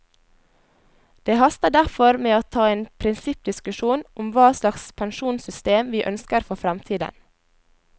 Det haster derfor med å ta en prinsippdiskusjon om hva slags pensjonssystem vi ønsker for fremtiden.